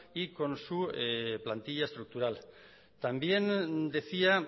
y con su plantilla estructural también decía